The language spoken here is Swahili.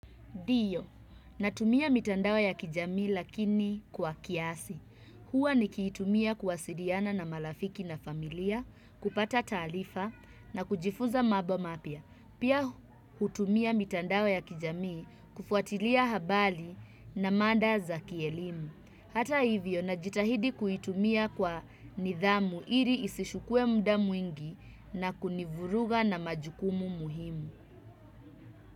Ndiyo, natumia mitandao ya kijamii lakini kwa kiasi. Hua niki itumia kuwasiriana na malafiki na familia, kupata taalifa na kujifuza mabo mapya. Pia hutumia mitandao ya kijamii kufuatilia habali na manda za kielimu. Hata hivyo, najitahidi kuitumia kwa nidhamu iri isishukue mda mwingi na kunivuruga na majukumu muhimu.